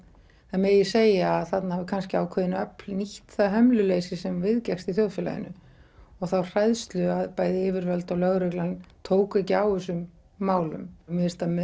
það megi segja að þarna voru kannski ákveðin öfl nýtt það hömluleysi sem viðgekkst í þjóðfélaginu og þá hræðslu að bæði yfirvöld og lögreglan tóku ekki á þessum málum mér finnst að